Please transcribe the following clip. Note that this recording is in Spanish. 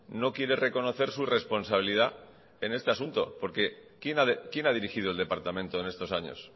no quiere reconocer su responsabilidad en este asunto porque quién ha dirigido el departamento en estos años